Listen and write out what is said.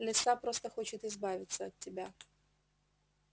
лиса просто хочет избавиться от тебя